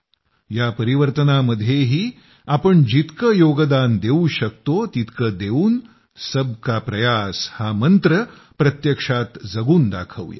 या परिवर्तनामध्येही आपण जितकं योगदान देऊ शकतो तितकं देवून सबका प्रयास हा मंत्र प्रत्यक्षात जगून दाखवू या